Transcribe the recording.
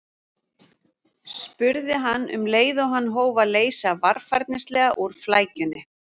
spurði hann um leið og hann hóf að leysa varfærnislega úr flækjunni.